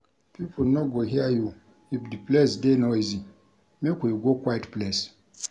Pipo no go hear you if di place dey noisy, make we go quiet place.